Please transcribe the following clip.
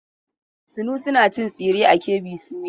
Sunusi na cin tsire a KB soya.